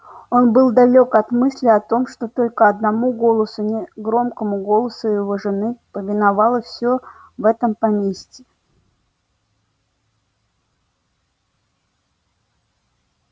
он был далёк от мысли о том что только одному голосу негромкому голосу его жены повиновалось всё в поместье